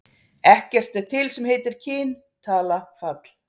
Ekkert er til sem heitir kyn, tala, fall.